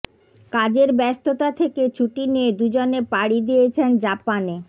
কাজের ব্যস্ততা থেকে ছুটি নিয়ে দুজনে পাড়ি দিয়েছেন জাপানে